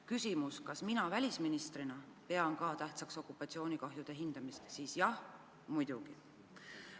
Küsimus, kas mina välisministrina pean ka tähtsaks okupatsioonikahjude hindamist, siis – jah, muidugi.